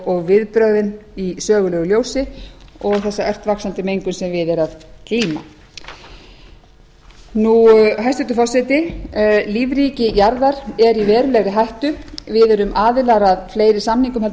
og viðbrögðin í sögulegu ljósi og ört vaxandi mengun sem við er að glíma hæstvirtur forseti lífríki jarðar er í verulegri hættu við erum aðilar að fleiri samingum en